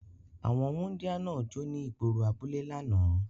Awọn wundia náa jo ni igboro abule lánà